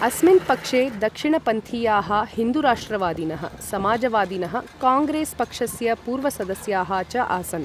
अस्मिन् पक्षे दक्षिणपन्थीयाः हिन्दु राष्ट्रवादिनः, समाजवादिनः, काङ्ग्रेस् पक्षस्य पूर्वसदस्याः च आसन्।